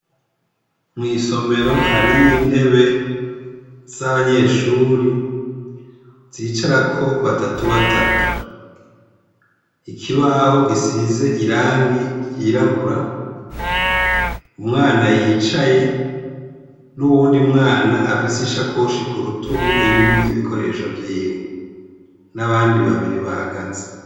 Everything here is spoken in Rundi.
Mw'isomero hari yo intebe z'abanyeshuri zicara ko batatu batatu ikibaho gisize irangi ryirabura umwana yicaye n'uwundi mwana afise ishakoshi ku rutugu irimwo ibikoresho vyiwe n'abandi babiri bahagaze.